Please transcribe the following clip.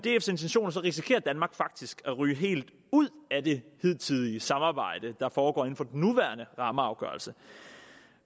intentioner risikerer danmark faktisk at ryge helt ud af det hidtidige samarbejde der foregår inden for den nuværende rammeafgørelse